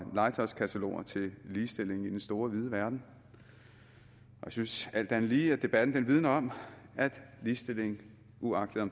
legetøjskataloger til ligestilling i den store vide verden jeg synes alt andet lige at debatten vidner om at ligestilling uagtet